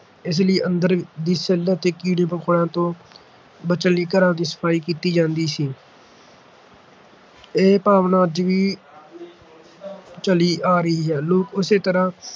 ਇਸ ਲਈ ਅੰਦਰ ਦੀ ਸਿਲ੍ਹ ਅਤੇ ਕੀੜੇ-ਮਕੌੜਿਆਂ ਤੋਂ ਬਚਣ ਲਈ ਘਰਾਂ ਦੀ ਸਫ਼ਾਈ ਕੀਤੀ ਜਾਂਦੀ ਸੀ ਇਹੀ ਭਾਵਨਾ ਅੱਜ ਵੀ ਚਲੀ ਆ ਰਹੀ ਹੈ ਲੋਕ ਉਸੇ ਤਰ੍ਹਾਂ